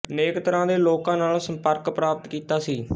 ਅਨੇਕ ਤਰ੍ਹਾਂ ਦੇ ਲੋਕਾਂ ਨਾਲ ਸੰਪਰਕ ਪ੍ਰਾਪਤ ਕੀਤਾ ਸੀ